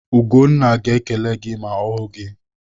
Ugonna ga-ekele gị ma ọ hụ gị.